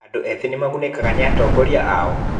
Andũ ethĩ nĩ magunĩkaga nĩ atongoria ao?